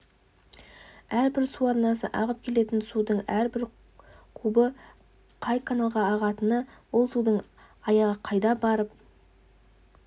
әрбір су арнасы ағып келетін судың әрбір кубы қай каналға ағатыны ол судың аяғы қайда барып